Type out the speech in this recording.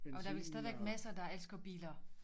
Og der vel stadigvæk masser der elsker biler